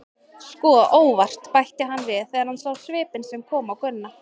Sko, ÓVART, bætti hann við þegar hann sá svipinn sem kom á Gunna.